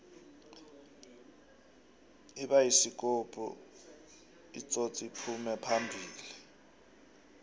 ibayisikopu itsotsliphume phambili